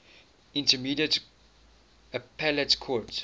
intermediate appellate court